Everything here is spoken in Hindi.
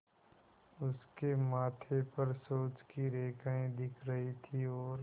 उसके माथे पर सोच की रेखाएँ दिख रही थीं और